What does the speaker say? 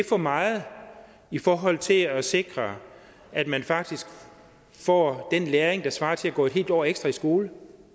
for meget i forhold til at sikre at man faktisk får den læring der svarer til at gå et helt år ekstra i skole